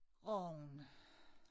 Rogn